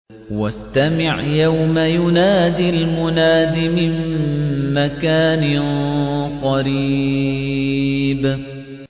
وَاسْتَمِعْ يَوْمَ يُنَادِ الْمُنَادِ مِن مَّكَانٍ قَرِيبٍ